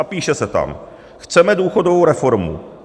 A píše se tam: "Chceme důchodovou reformu.